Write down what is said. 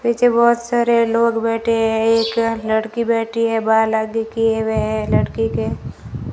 पीछे बहोत सारे लोग बैठे हैं एक लड़की बैठी है बाल आगे किए हुए है लड़की के --